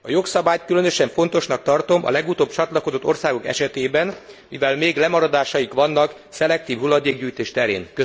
A jogszabályt különösen fontosnak tartom a legutóbb csatlakozott országok esetében, mivel még lemaradásaik vannak a szelektív hulladékgyűjtés terén.